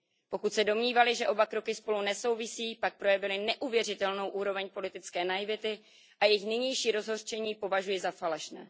Pokud se domnívali, že oba kroky spolu nesouvisejí, pak projevili neuvěřitelnou úroveň politické naivity a jejich nynější rozhořčení považuji za falešné.